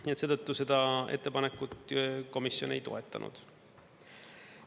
Nii et seetõttu seda ettepanekut komisjon ei toetanud.